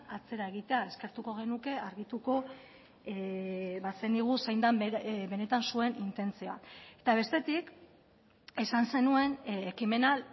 atzera egitea eskertuko genuke argituko bazenigu zein den benetan zuen intentzioa eta bestetik esan zenuen ekimena